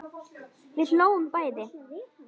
Við hlógum bæði.